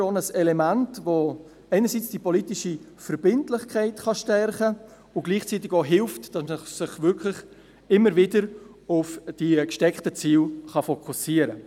Dies ist sicher ein Element, welches einerseits die politische Verbindlichkeit stärken kann und gleichzeitig dabei hilft, sich immer wieder auf die gesteckten Ziele zu fokussieren.